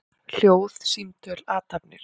Hljóð, símtöl, athafnir.